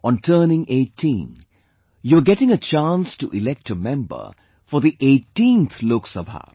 On turning 18, you are getting a chance to elect a member for the 18th Lok Sabha